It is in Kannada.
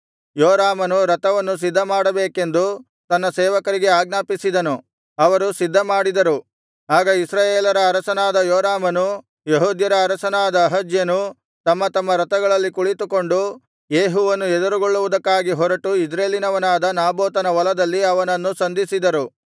ಯೋರಾಮನು ರಥವನ್ನು ಸಿದ್ಧಮಾಡಬೇಕೆಂದು ತನ್ನ ಸೇವಕರಿಗೆ ಆಜ್ಞಾಪಿಸಿದನು ಅವರು ಸಿದ್ಧಮಾಡಿದರು ಆಗ ಇಸ್ರಾಯೇಲರ ಅರಸನಾದ ಯೋರಾಮನು ಯೆಹೂದ್ಯರ ಅರಸನಾದ ಅಹಜ್ಯನೂ ತಮ್ಮ ತಮ್ಮ ರಥಗಳಲ್ಲಿ ಕುಳಿತುಕೊಂಡು ಯೇಹುವನ್ನು ಎದುರುಗೊಳ್ಳುವುಕ್ಕಾಗಿ ಹೊರಟು ಇಜ್ರೇಲಿನವನಾದ ನಾಬೋತನ ಹೊಲದಲ್ಲಿ ಅವನನ್ನು ಸಂಧಿಸಿದರು